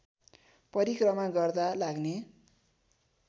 परिक्रमा गर्दा लाग्ने